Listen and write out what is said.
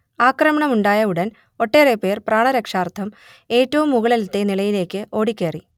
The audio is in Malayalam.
ആക്രമണമുണ്ടായ ഉടൻ ഒട്ടേറെപ്പേർ പ്രാണരക്ഷാർഥം ഏറ്റവും മുകളിലത്തെ നിലയിലേക്ക് ഓടിക്കയറി